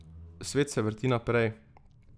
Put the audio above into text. Svet se vrti naprej ...